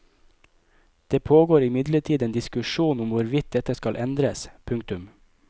Det pågår imidlertid en diskusjon om hvorvidt dette skal endres. punktum